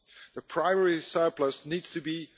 The primary surplus needs to be